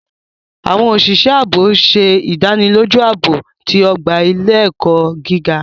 Awọn oṣiṣẹ aabo ń ṣe idaniloju aabo ti ogba ile-ẹkọ giga.